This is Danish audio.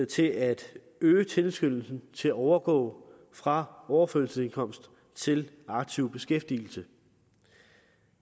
til at øge tilskyndelsen til at overgå fra overførselsindkomst til aktiv beskæftigelse